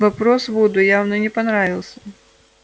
вопрос вуду явно не понравился